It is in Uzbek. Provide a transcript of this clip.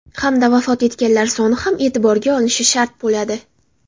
Hamda vafot etganlar soni ham e’tiborga olinishi shart bo‘ladi.